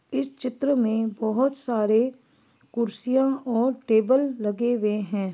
इस चित्र में बहुत सारे कुर्सियां और टेबल लगे हुए है।